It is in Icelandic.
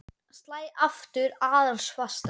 Slæ aftur aðeins fastar.